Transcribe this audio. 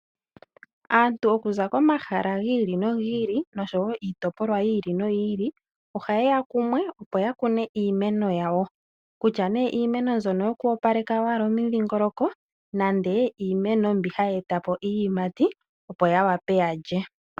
Aantu okuza komahala gi ili nogi ili nosho wo iitopolwa yi ili noyi ili ohaye ya kumwe, opo ya kune iimeno yawo. Kutya nduno iimeno mbyono oyo ku opaleka owala omidhingoloko nenge iimeno mbi hayi eta po iiyimati opo ya wape ya lye.